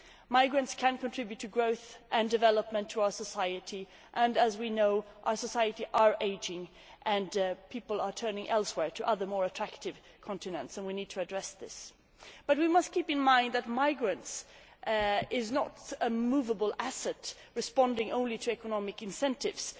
Migrants can contribute to growth and development, to our society and, as we know, our societies are ageing and people are turning elsewhere to other more attractive continents and we need to address this. We must keep in mind that migrants are not a moveable asset responding only to economic incentives.